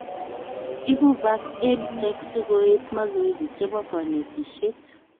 Ibu bak EdTech sikoet mazoezi chebo konetishet